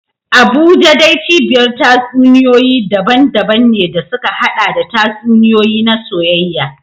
Abuja dai cibiyar tatsuniyoyi daban-daban ne da suka haɗa da tatsuniyoyi na soyayya.